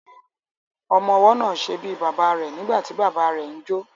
Ọmọwọ́ náà ṣe bíi bàbá rẹ̀ nígbàtí bàbá ẹ ń jó.